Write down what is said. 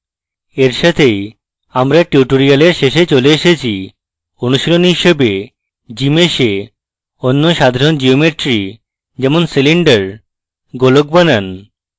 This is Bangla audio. এর সাথেই আমরা tutorial শেষে চলে এসেছি অনুশীলনী হিসাবে gmsh এ অন্য সাধারণ geometry যেমনকি cylinder গোলক বানান